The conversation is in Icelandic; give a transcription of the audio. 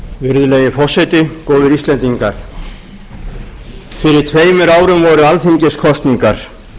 virðulegi forseti góðir íslendingar fyrir tveimur árum voru alþingiskosningar